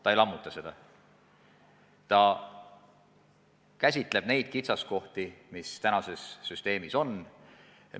Ta ei lammuta seda, vaid käsitleb kitsaskohti, mis praeguses süsteemis on.